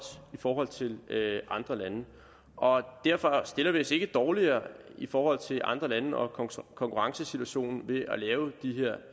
i forhold til andre lande og derfor stiller vi os ikke dårligere i forhold til andre lande og konkurrencesituationen ved at lave de her